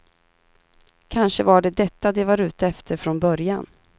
Kanske var det detta de var ute efter från början.